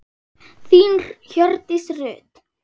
Þín Hjördís Rut.